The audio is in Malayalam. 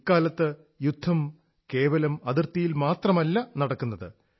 ഇക്കാലത്ത് യുദ്ധം കേവലം അതിർത്തിയിൽ മാത്രമല്ല നടക്കുന്നത്